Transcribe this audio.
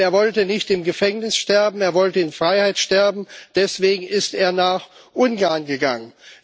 Und er wollte nicht im Gefängnis sterben, er wollte in Freiheit sterben deswegen ist er nach Ungarn gegangen.